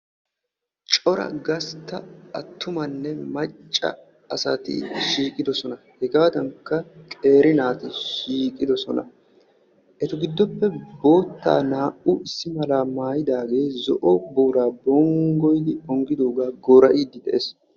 cora gastta attumanne macca asati shiiqidosona hegaadankka qeeri naati shiiqidososna, eta giddoppe bootaa naa"u issi mala maayidaaagee zo'o booraa bonggoyid onggidoogaa goora'iidi de'ees.